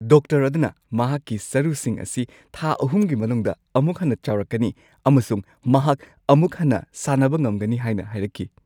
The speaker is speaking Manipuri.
ꯗꯣꯛꯇꯔ ꯑꯗꯨꯅ ꯃꯍꯥꯛꯀꯤ ꯁꯔꯨꯁꯤꯡ ꯑꯁꯤ ꯊꯥ ꯳ꯒꯤ ꯃꯅꯨꯡꯗ ꯑꯃꯨꯛ ꯍꯟꯅ ꯆꯥꯎꯔꯛꯀꯅꯤ ꯑꯃꯁꯨꯡ ꯃꯍꯥꯛ ꯑꯃꯨꯛ ꯍꯟꯅ ꯁꯥꯟꯅꯕ ꯉꯝꯒꯅꯤ ꯍꯥꯏꯅ ꯍꯥꯏꯔꯛꯈꯤ ꯫